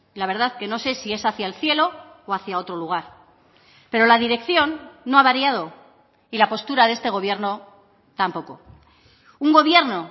la verdad que no sé si es hacia el cielo o hacia otro lugar pero la dirección no ha variado y la postura de este gobierno tampoco un gobierno